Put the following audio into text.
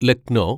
Lucknow